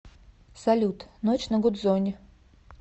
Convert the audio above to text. салют ночь на гудзоне